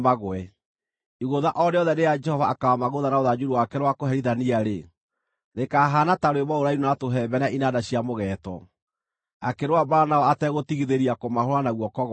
Igũtha o rĩothe rĩrĩa Jehova akaamagũtha na rũthanju rwake rwa kũherithania-rĩ, rĩkaahaana ta rwĩmbo rũrainwo na tũhembe na inanda cia mũgeeto, akĩrũa mbaara nao ategũtigithĩria kũmahũũra na guoko gwake.